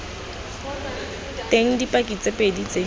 teng dipaki tse pedi tse